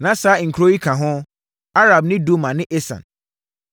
Na saa nkuro yi ka ho: Arab ne Duma ne Esan,